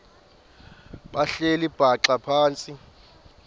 behleli bhaxa phantsi